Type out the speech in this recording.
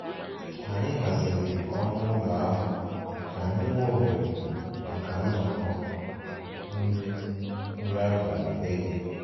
Anyị haziri ọnụ ụlọ ahụ ka anyị nwee ohere maka nnọkọ nri nri abalị Eid